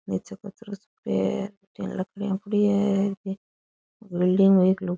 नीचे कचरो सो है बठीने लकड़ियाँ पड़ी है बिल्डिंग में एक लोग --